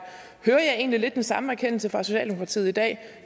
hører jeg egentlig lidt den samme erkendelse fra socialdemokratiet i dag